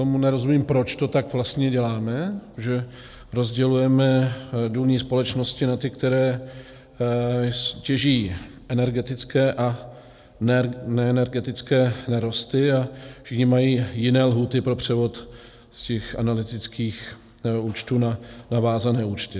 Tomu nerozumím, proč to tak vlastně děláme, že rozdělujeme důlní společnosti na ty, které těží energetické, a neenergetické nerosty, a všichni mají jiné lhůty pro převod z těch analytických účtů na vázané účty.